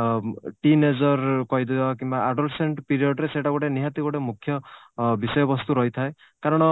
ଅ teenager କହିଦେବା କିମ୍ବା adolescence period ରେ ସେଇଟା ଗୋଟେ ନିହାତି ଗୋଟେ ମୁଖ୍ୟ ଅ ବିଷୟ ବସ୍ତୁ ରହିଥାଏ କାରଣ